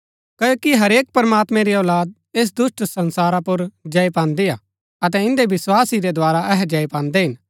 क्ओकि हरेक प्रमात्मैं री औलाद ऐस दुष्‍ट संसारा पुर जय पान्दीआ अतै इन्दै विस्वास ही रै द्धारा अहै जय पान्दै हिन